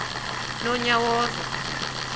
nonyawoza